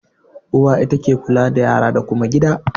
Uwa ita ke kula da yara da kuma gida.